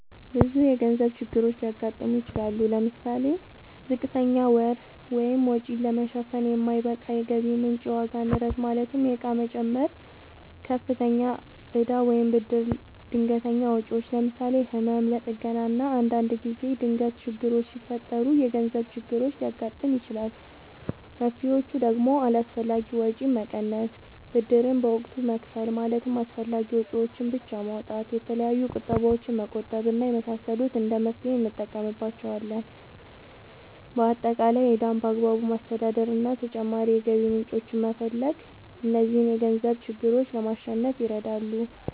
ብዙ የገንዘብ ችግሮች ሊያጋጥሙ ይችላሉ። ለምሳሌ፦ ዝቅተኛ ገቢ(ወጪን ለመሸፈን የማይበቃ የገቢ ምንጭ) ፣የዋጋ ንረት ማለትም የእቃ ዋጋ መጨመር፣ ከፍተኛ እዳ ወይም ብድር፣ ድንገተኛ ወጪዎች ለምሳሌ፦ ለህመም፣ ለጥገና እና አንዳንድ ጊዜ ድንገት ችግሮች ሲፈጠሩ የገንዘብ ችግር ሊያጋጥም ይችላል። መፍትሔዎቹ ደግሞ አላስፈላጊ ወጪን መቀነስ፣ ብድርን በወቅቱ መክፈል ማለትም አስፈላጊ ወጪዎችን ብቻ ማውጣት፣ የተለያዩ ቁጠባዎችን መቆጠብ እና የመሳሰሉት እንደ መፍትሔ እንጠቀምባቸዋለን። በአጠቃላይ ዕዳን በአግባቡ ማስተዳደር እና ተጨማሪ የገቢ ምንጮችን መፈለግ እነዚህን የገንዘብ ችግሮች ለማሸነፍ ይረዳሉ።